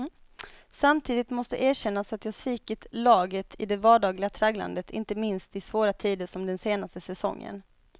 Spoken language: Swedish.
Samtidigt måste erkännas att jag svikit laget i det vardagliga tragglandet, inte minst i svåra tider som den senaste säsongen.